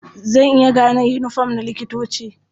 Zan iya gane yiniform na likitoci.